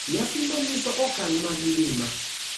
Nyasi ma nyiso okang` mag ngima,